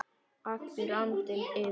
Allur andinn yfir manni.